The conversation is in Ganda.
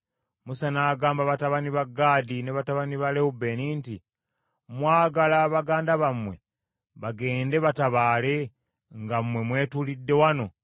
Musa n’agamba batabani ba Gaadi ne batabani ba Lewubeeni nti, “Mwagala baganda bammwe bagende batabaale, nga mmwe mwetuulidde wano?